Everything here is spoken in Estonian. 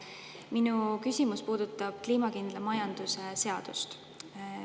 Minu küsimus puudutab kliimakindla majanduse seadust.